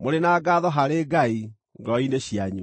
mũrĩ na ngaatho harĩ Ngai ngoro-inĩ cianyu.